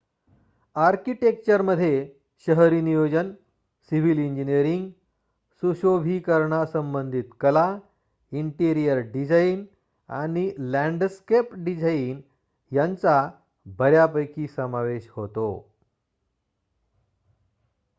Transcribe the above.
आर्किटेक्चरमध्ये शहरी नियोजन सिव्हील इंजिनीअरिंग सुशोभिकरणासंबंधित कला इन्टिरीअर डिझाइन आणि लॅन्डस्केप डिझाइन यांचा बऱ्यापैकी समावेश होतो